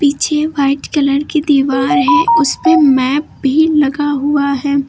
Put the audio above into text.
पीछे white colour की दीवार है उसपे मैप भी लगा हुआ है।